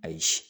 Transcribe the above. Ayi